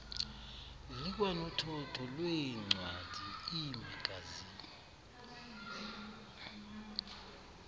likwanothotho lweencwadi iimagazini